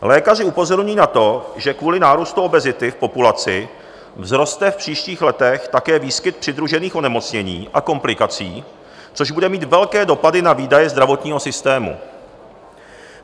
Lékaři upozorňují na to, že kvůli nárůstu obezity v populaci vzroste v příštích letech také výskyt přidružených onemocnění a komplikací, což bude mít velké dopady na výdaje zdravotního systému.